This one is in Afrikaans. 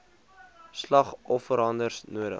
slag offerhandves hoog